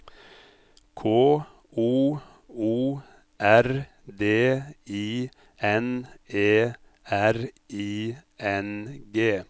K O O R D I N E R I N G